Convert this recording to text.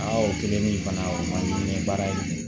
Aa o kelen ni fana o man di n ye baara in